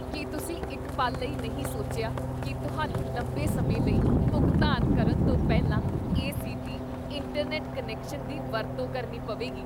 ਕੀ ਤੁਸੀਂ ਇੱਕ ਪਲ ਲਈ ਨਹੀਂ ਸੋਚਿਆ ਕੀ ਤੁਹਾਨੂੰ ਲੰਬੇ ਸਮੇਂ ਲਈ ਭੁਗਤਾਨ ਕਰਨ ਤੋਂ ਪਹਿਲਾਂ ਏ.ਸੀ.ਟੀ. ਇੰਟਰਨੈਟ ਕਨੈਕਸ਼ਨ ਦੀ ਵਰਤੋਂ ਕਰਨੀ ਪਵੇਗੀ?